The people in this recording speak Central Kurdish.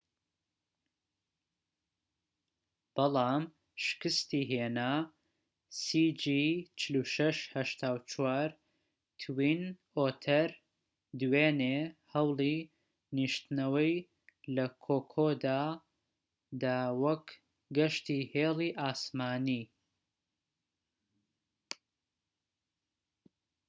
توین ئۆتەر دوێنێ هەوڵی نیشتنەوەی لە کۆکۆدا دا وەک گەشتی هێڵی ئاسمانی cg4684 بەڵام شکستی هێنا